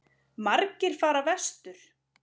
Margir fara vestur